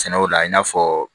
Sɛnɛw la i n'a fɔ